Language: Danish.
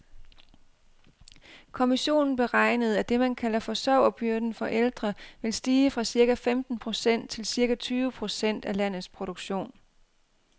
Kommissionen beregnede, at det man kalder forsørgerbyrden for ældre vil stige fra cirka femten procent til cirka tyve procent af landets produktion.